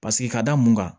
Paseke ka da mun kan